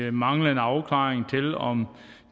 af manglende afklaring om